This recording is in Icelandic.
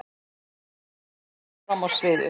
Maggi kom fram á sviðið.